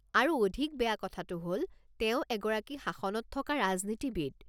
আৰু অধিক বেয়া কথাটো হ'ল, তেওঁ এগৰাকী শাসনত থকা ৰাজনীতিবিদ।